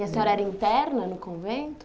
E a senhora era interna no convento?